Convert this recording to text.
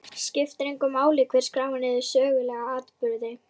Skiptir engu máli hver skráir niður sögulega atburði?